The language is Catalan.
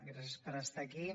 gràcies per estar aquí